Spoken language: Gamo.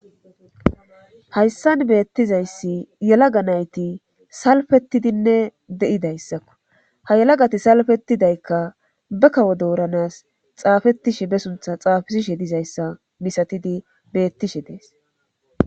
Hayssan beettizayssi yalaga nayti salfettidinne de7idayssakko ha yalagati salfetidaykka bekawo dooranas xaafetishe be suntha xaafisishe dizayssa misatidi beettishe dees.